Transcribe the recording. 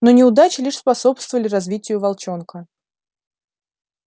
но неудачи лишь способствовали развитию волчонка